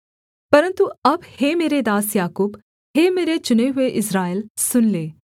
परन्तु अब हे मेरे दास याकूब हे मेरे चुने हुए इस्राएल सुन ले